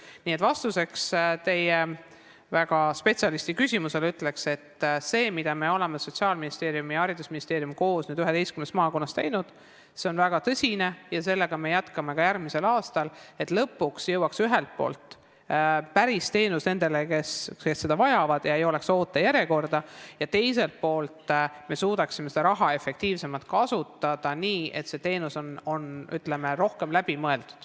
Nii et vastuseks teie kui spetsialisti küsimusele ütlen, et see, mida Sotsiaalministeerium ja haridusministeerium on koos 11 maakonnas teinud, on väga tõsine töö ja sellega me jätkame ka järgmisel aastal, et lõpuks jõuaks ühelt poolt päris teenus nendeni, kes seda vajavad, ega oleks ootejärjekorda ning teiselt poolt me suudaksime raha efektiivsemalt kasutada ja see teenus oleks rohkem läbi mõeldud.